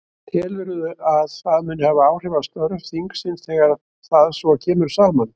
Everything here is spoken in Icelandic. Telurðu að það muni hafa áhrif á störf þingsins þegar það svo kemur saman?